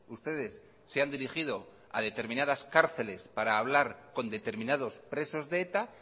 ustedes se han dirigido a determinadas cárceles para hablar con determinados presos de eta